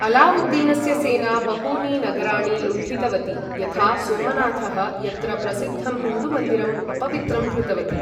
अलावुद्दीनस्य सेना बहूनि नगराणि लुण्ठितवती यथा सोमनाथः, यत्र प्रसिद्धं हिन्दुमन्दिरं अपवित्रं कृतवती।